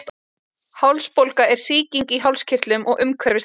hálsbólga er sýking í hálskirtlum og umhverfis þá